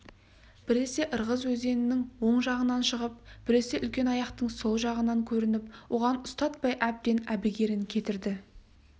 біресе ырғыз өзенінің оң жағынан шығып біресе үлкенаяқтың сол жағасынан көрініп оған ұстатпай әбден әбігерін кетірді